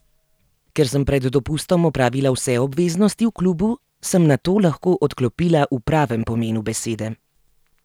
Ker sem pred dopustom opravila vse obveznosti v klubu, sem nato lahko odklopila v pravem pomenu besede.